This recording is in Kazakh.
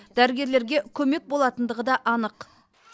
дәрігерлерге көмек болатындығы да анық